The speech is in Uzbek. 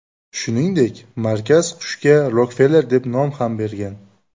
Shuningdek, markaz qushga Rokfeller deb nom ham bergan.